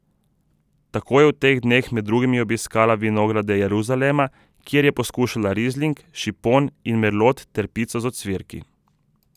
Tako je v teh dneh med drugim obiskala vinograde Jeruzalema, kjer je poskušala rizling, šipon in merlot ter pico z ocvirki.